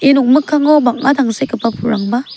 ia nokmikkango bang·a tangsekgipa pulrangba --